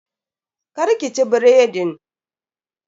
Kar ki ci biredin.